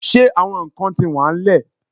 Ṣe awọn nkan ti wa n lẹ?